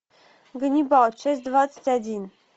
ганнибал часть двадцать один